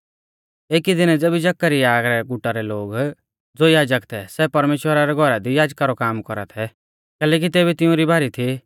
एकी दिनै ज़ेबी जकरयाह रै गुटा रै लोग ज़ो याजक थै सै परमेश्‍वरा रै घौरा दी याजका रौ काम कौरा थै कैलैकि तेबी तिउंरी बारी थी